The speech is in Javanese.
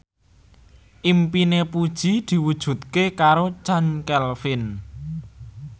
impine Puji diwujudke karo Chand Kelvin